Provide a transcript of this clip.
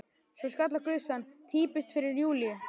Svo skall á gusan: Týpiskt fyrir Júlíu!